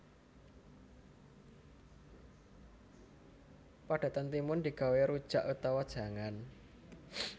Padatan timun digawé rujak utawa jangan